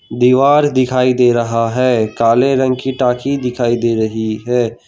दीवार दिखाई दे रहा है काले रंग की टॉकी दिखाई दे रही है।